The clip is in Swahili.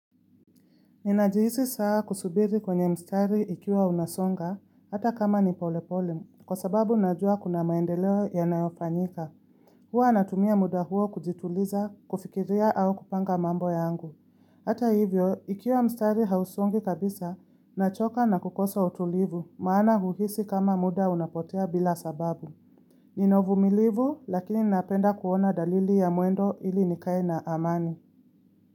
Ninajihisi saa kusubiri kwenye mstari ikiwa unasonga, hata kama nipolepole, kwa sababu najua kuna maendeleo yanayofanyika. Huwa natumia muda huo kujituliza, kufikiria au kupanga mambo yangu. Hata hivyo, ikiwa mstari hausongi kabisa, nachoka na kukosa utulivu, maana uhisi kama muda unapotea bila sababu. Nina uvumilivu, lakini napenda kuona dalili ya mwendo ili nikae na amani.